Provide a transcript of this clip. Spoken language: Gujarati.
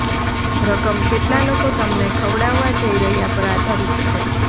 રકમ કેટલા લોકો તમને ખવડાવવા જઈ રહ્યા પર આધારિત છે